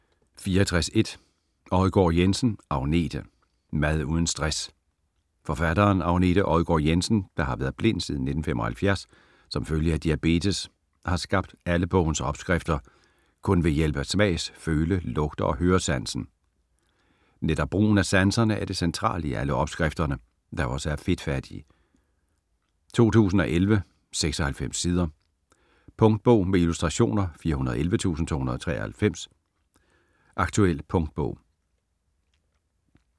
64.1 Odgaard-Jensen, Agnete: Mad uden stress Forfatteren, Agnete Odgaard-Jensen, der har været blind siden 1975 som følge af diabetes, har skabt alle bogens opskrifter kun ved hjælp af smags-, føle-, lugte- og høresansen. Netop brugen af sanserne er det centrale i alle opskrifterne, der også er fedtfattige. 2011, 96 sider. Punktbog med illustrationer 411293 Aktuel punktbog